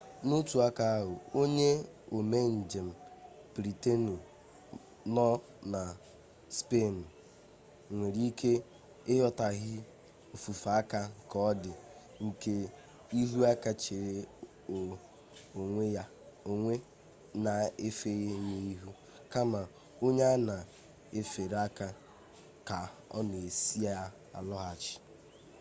n'otu aka ahụ onye ome njem britenụ nọ na spenụ nwere ike ịghọtaghie ofufe aka ka ọdị nke ihu aka chere onye na-efe ya ihu kama onye a na-efere aka ka ọ na-asị ya lọghachi